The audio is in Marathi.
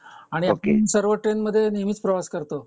आपण सर्व ट्रेन मधे नेहमीच प्रवास करतो